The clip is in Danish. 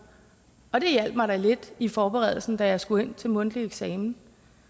og det hjalp mig da lidt i forberedelsen da jeg skulle ind til mundtlig eksamen